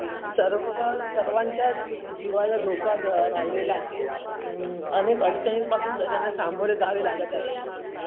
अनेकअडचनिन पासून सगळ्याना सामोरे जावे लागत आहे